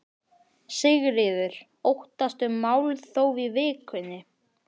Þorbjörn: Þannig þið eruð ekki búnir að útiloka íkveikju?